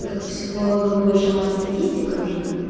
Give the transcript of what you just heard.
как психологом больше мать статистика нужна